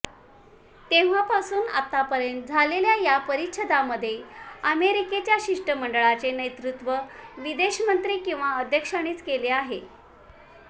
तेव्हापासून आतापर्यंत झालेल्या या परिषदांमध्ये अमेरिकेच्या शिष्टमंडळाचे नेतृत्व विदेशमंत्री किंवा अध्यक्षांनीच केले आहे